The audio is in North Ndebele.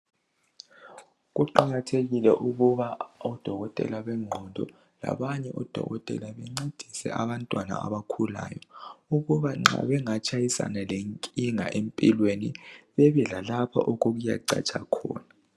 Kuqakathekile ukuba odokotela benqondo labanye odokotela bencedise abantwana abakhulayo ukuba qa bangatshayisana lenkinga empilweni bebe lalapha kuyacatsha khona.